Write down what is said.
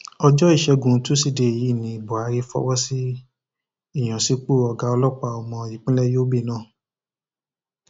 ọjọ ìṣẹgun tusidee ọsẹ yìí ní buhari fọwọ sí ìyànsípò ọgá ọlọpàá ọmọ ìpínlẹ yobe náà